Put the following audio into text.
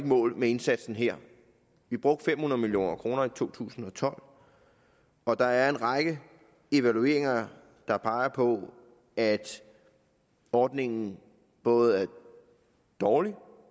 mål med indsatsen her vi brugte fem hundrede million kroner i to tusind og tolv og der er en række evalueringer der peger på at ordningen både er dårlig